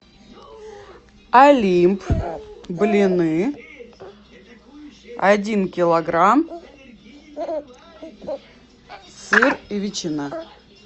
олимп блины один килограмм сыр и ветчина